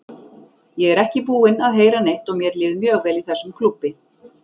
Ég er ekki búinn að heyra neitt og mér líður mjög vel í þessum klúbbi.